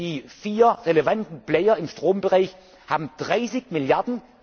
in Spanien. Die vier relevanten Player im Strombereich haben